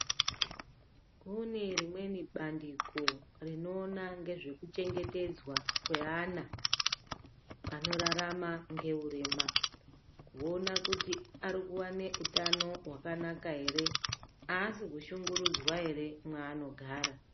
Kune rimweni bandiko rinoona ngezvekuchengetedzwa kweana anorarama ngeurema. Kuona kuti arikuvana utano hwakanaka ere, haasi kushungurudzwa ere mwaanogara.